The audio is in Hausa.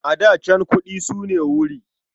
A da can, kuɗi su ne wuri.